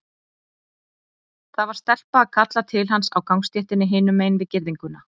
Það var stelpa að kalla til hans á gangstéttinni hinum megin við girðinguna.